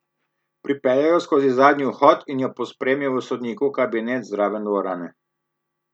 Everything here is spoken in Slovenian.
Pripeljal jo je skozi zadnji vhod in jo pospremil v sodnikov kabinet zraven dvorane.